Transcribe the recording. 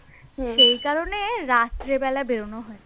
সেই কারণে রাত্রে বেলা বেরোনো হয়েছে